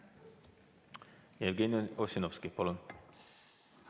Jevgeni Ossinovski, palun!